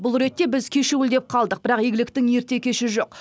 бұл ретте біз кешеуілдеп қалдық бірақ игіліктің ерте кеші жоқ